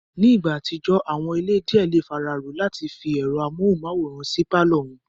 Ní ìgbà àtijọ́, àwọn ilé díẹ̀ le fararọ́ọ àti fi ẹ̀rọ amóhùnmáwòrán sí pálọ̀ wọn